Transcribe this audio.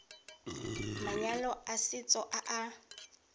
manyalo a setso a a